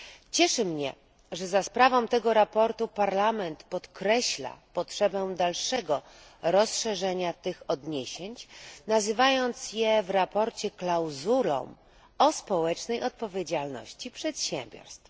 Cieszy mnie, że za sprawą tego sprawozdania Parlament podkreśla potrzebę dalszego rozszerzenia tych odniesień, nazywając je w sprawozdaniu klauzulą o społecznej odpowiedzialności przedsiębiorstw.